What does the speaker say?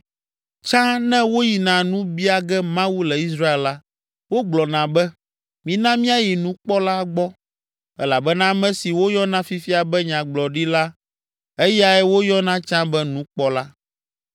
Tsã ne woyina nu bia ge Mawu le Israel la, wogblɔna be, “Mina míayi nukpɔla gbɔ,” elabena ame si woyɔna fifia be nyagblɔɖila, eyae woyɔna tsã be nukpɔla.